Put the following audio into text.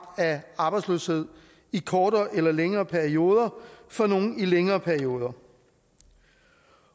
af arbejdsløshed i kortere eller længere perioder og for nogle altså i længere perioder